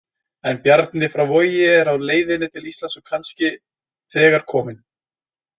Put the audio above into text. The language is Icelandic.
En Bjarni frá Vogi er á leiðinni til Íslands og kannski þegar kominn.